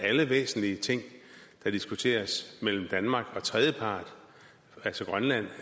alle væsentlige ting der diskuteres mellem danmark og tredjepart altså grønland